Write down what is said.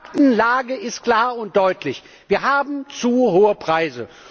Die Faktenlage ist klar und deutlich Wir haben zu hohe Preise.